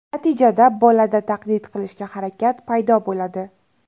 Natijada bolada taqlid qilishga harakat paydo bo‘ladi.